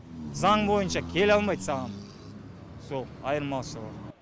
заң бойынша келе алмайды саған сол айырмашылығы